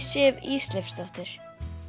Sif Ísleifsdóttir